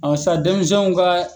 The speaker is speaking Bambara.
sa denmizɛnw ka